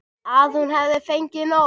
Að hún hefur fengið nóg.